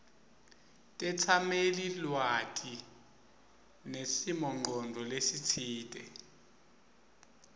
tetsamelilwati nesimongcondvo lesitsite